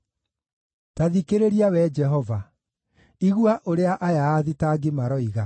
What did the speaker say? Ta thikĩrĩria, Wee Jehova; igua ũrĩa aya aathitangi maroiga!